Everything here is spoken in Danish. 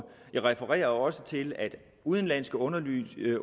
jeg refererede også til at udenlandske undersøgelser ikke